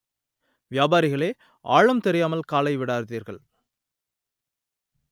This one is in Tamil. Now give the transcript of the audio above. வியாபாரிகளே! ஆழம் தெரியாமல் காலை விடாதீர்கள்